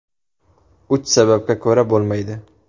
Uch sababga ko‘ra bo‘lmaydi.